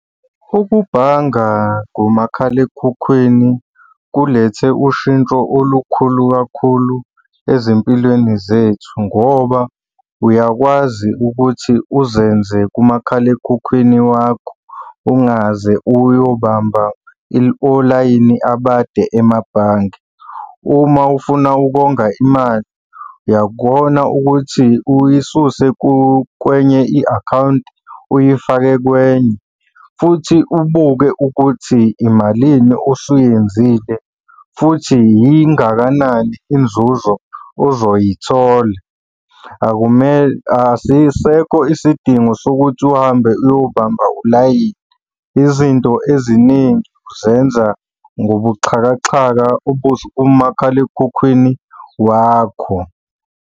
Ukubhanga ngomakhalekhukhwini kulethe ushintsho olukhulu kakhulu ezimpilweni zethu ngoba uyakwazi ukuthi uzenze kumakhalekhukhwini wakho ungaze uyobamba olayini abade emabhange. Uma ufuna ukonga imali uyakona ukuthi uyisuse kwenze i-akhawunti, uyifake kwenye, futhi ubuke ukuthi imalini osuyenzile, futhi yingakanani inzuzo ozoyithola. Asisekho isidingo sokuthi uhambe uyobamba ulayini. Izinto eziningi uzenza ngobuxhakaxhaka kumakhalekhukhwini wakho.